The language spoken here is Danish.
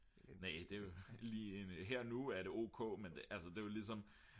det er lige her og nu er det ok men altså det er ligesom